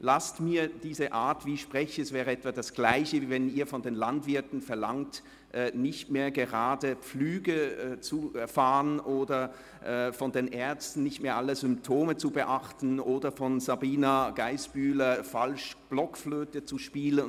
Es ist etwa das Gleiche, wie wenn Sie von den Landwirten verlangten, nicht mehr gerade zu pflügen, oder von den Ärzten, nicht mehr alle Symptome zu beachten, oder von Grossrätin Sabina Geissbühler, falsch Blockflöte zu spielen.